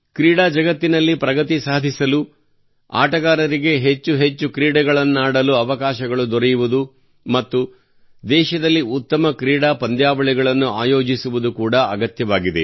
ಕ್ರೀಡಾ ಜಗತ್ತಿನಲ್ಲಿ ಪ್ರಗತಿ ಸಾಧಿಸಲು ಆಟಗಾರರಿಗೆ ಹೆಚ್ಚು ಹೆಚ್ಚು ಕ್ರೀಡೆಗಳನ್ನಾಡಲು ಅವಕಾಶಗಳು ದೊರೆಯುವುದು ಮತ್ತು ದೇಶದಲ್ಲಿ ಉತ್ತಮ ಕ್ರೀಡಾ ಪಂದ್ಯಾವಳಿಗಳನ್ನು ಆಯೋಜಿಸುವುದು ಕೂಡಾ ಅಗತ್ಯವಾಗಿದೆ